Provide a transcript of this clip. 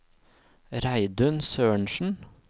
Reidun Sørensen